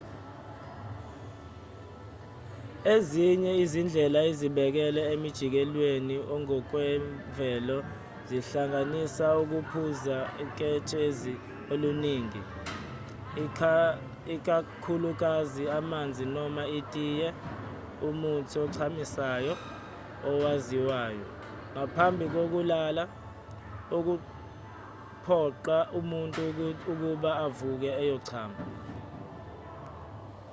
ezinye izindlela ezisekelwe emjikelezweni ongokwemvelo zihlanganisa ukuphuza uketshezi oluningi ikakhulukazi amanzi noma itiye umuthi ochamisayo owaziwayo ngaphambi kokulala okuphoqa umuntu ukuba avuke ayochama